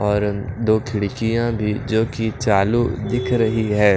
और दो खिड़कियां भी जो कि चालू दिख रही है।